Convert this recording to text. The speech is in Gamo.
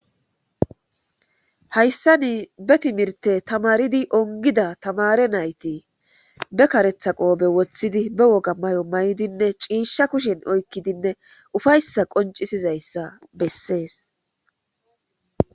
Hayssani be timirtte tamaridi onggida tamaare naati be kareththa qoobe woththidi ,be woga mayo mayidinne ciisha kushshen oykiddinne uffayssa qonccisizyssa bessees.